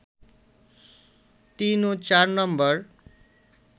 তিন ও চার নম্বর